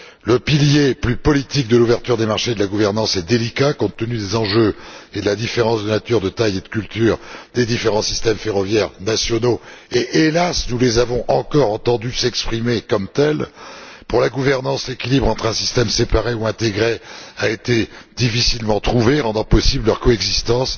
Le pilier plus politique de l'ouverture des marchés et de la gouvernance est délicat, compte tenu des enjeux et de la différence de nature, de taille et de culture des différents systèmes ferroviaires nationaux et, hélas, nous les avons encore entendus s'exprimer comme tels. Pour la gouvernance, l'équilibre entre système séparé et système intégré a été difficilement trouvé, rendant possible leur coexistence